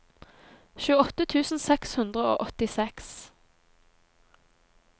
tjueåtte tusen seks hundre og åttiseks